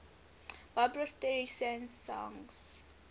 barbra streisand songs